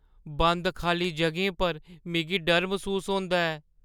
बंद खाल्ली जʼगें पर मिगी डर मसूस होंदा ऐ।